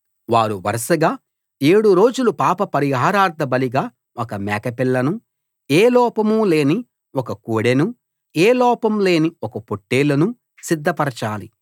వారు వరసగా ఏడు రోజులు పాప పరిహారార్ధబలిగా ఒక మేకపిల్లను ఏ లోపం లేని ఒక కోడెను ఏ లోపం లేని ఒక పొట్టేలును సిద్ధపరచాలి